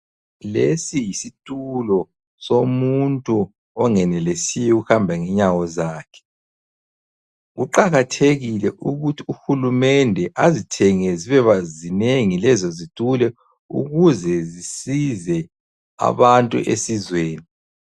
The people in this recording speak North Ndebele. Lesi yisitulo somuntu ongenelisiyo ukuhamba ngenyawo zakhe. Kuqakathekile ukuthi uhulumende azithenge zibe zinengi lezi zitulo ukuze zisize abantu esizweni.